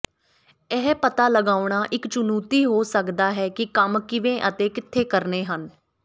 ਇਹ ਪਤਾ ਲਗਾਉਣਾ ਇੱਕ ਚੁਣੌਤੀ ਹੋ ਸਕਦੀ ਹੈ ਕਿ ਕੰਮ ਕਿਵੇਂ ਅਤੇ ਕਿੱਥੇ ਕਰਨੇ ਹਨ